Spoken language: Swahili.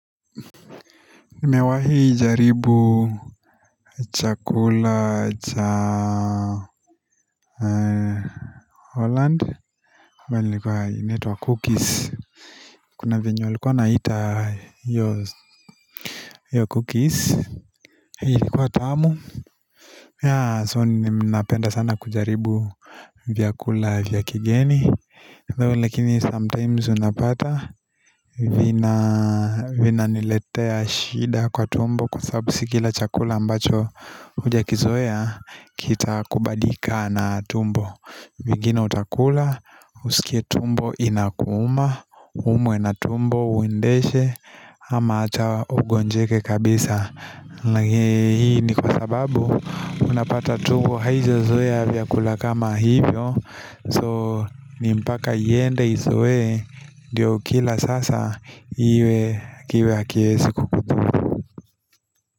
Nime wahi jaribu chakula cha Holland ambayi ni likuwa inaitwa cookies Kuna vyenye walikuwa wanaita hiyo hiyo cookies Hii ilikuwa tamu Yeah so ninapenda sana kujaribu vya kula vya kigeni though lakini sometimes unapata vina niletea shida kwa tumbo Kwa sababu sikila chakula ambacho huja kizoea kita kubalika na tumbo vingine utakula Usikie tumbo inakuma Uumwe na tumbo uendeshe ama hata ugonjeke kabisa Lakini hii ni kwa sababu Unapata tumbo haija zoea vyakula kama hivyo So nimpaka iende izoe ndio ukila sasa iwe kiwe hakiezi kukudhuru.